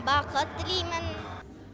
бақыт тілеймін